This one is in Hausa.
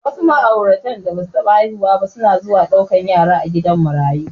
Wasu ma'aurata da basu taɓa haihuwa ba suna zuwa ɗaukan yara a gidan marayu.